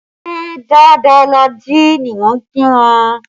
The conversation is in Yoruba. Ṣé dáadáa la jí ni mo kí wọn